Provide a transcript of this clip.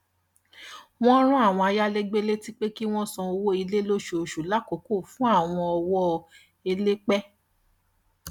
wọn rán àwọn ayálégbé létí pé kí wọn san owó ilé lóṣooṣù lákòókò fún àwọn ọwọ elépẹ